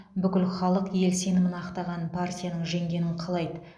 бүкіл халық ел сенімін ақтаған партияның жеңгенін қалайды